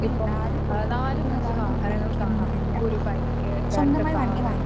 ഇപ്പം ഏഹ് നാലും അഞ്ചും വാഹനങ്ങൾ കാണാം. ഒരു ബൈക്ക്, രണ്ടു കാറ്